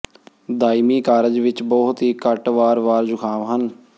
ਦਾਇਮੀ ਕਾਰਜ ਵਿੱਚ ਬਹੁਤ ਹੀ ਘੱਟ ਵਾਰ ਵਾਰ ਜ਼ੁਕਾਮ ਹਨ